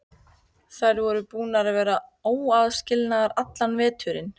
Þær voru búnar að vera óaðskiljanlegar allan veturinn.